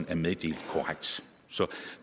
er meddelt korrekt så